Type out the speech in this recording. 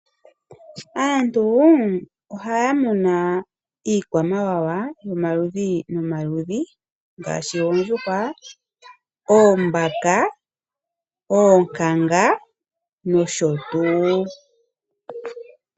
Aantu ohaya muna iikwamawawa yomaludhi nomaludhi ngaashi oondjuhwa, oombaka , oonkankanga nosho tuu .